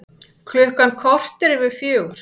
Klukkan korter yfir fjögur